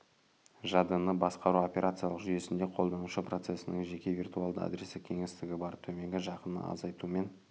жадыны басқару операциялық жүйесінде қолданушы процесінің жеке виртуалды адрестік кеңістігі бар төменгі жақын азайтумен